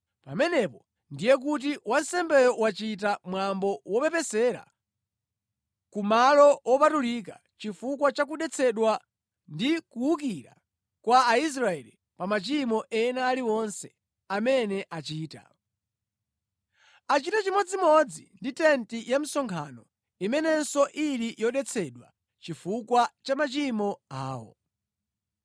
Pamenepo ndiye kuti wansembeyo wachita mwambo wopepesera ku Malo Wopatulika chifukwa cha kudetsedwa ndi kuwukira kwa Aisraeli pa machimo ena aliwonse amene achita. Achite chimodzimodzi ndi tenti ya msonkhano imenenso ili yodetsedwa chifukwa cha machimo awo.